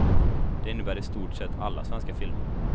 Det innebär i stort sett alla svenska filmer.